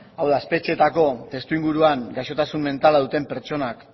hau da espetxeetako testu inguruan gaixotasun mentalak duten pertsonak